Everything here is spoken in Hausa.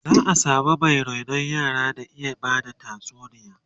za'a samu Mai rainon yara da ta iya Bada tatsuniya